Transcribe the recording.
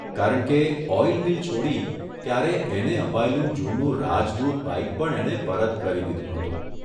કારણ કે, oil mill છોડી ત્યારે એને અપાયેલું જૂનું ' રાજદૂત ' બાઇક પણ એણે પરત કરી દીધું હતું.